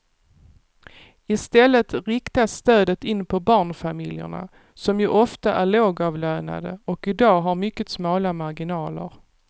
I stället riktas stödet in på barnfamiljerna som ju ofta är lågavlönade och i dag har mycket smala marginaler.